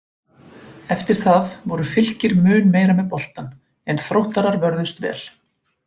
Eftir það voru Fylkir mun meira með boltann en Þróttarar vörðust vel.